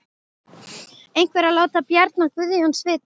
Einhver að láta Bjarna Guðjóns vita?